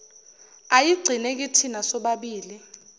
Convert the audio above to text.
ayigcine kithina sobabili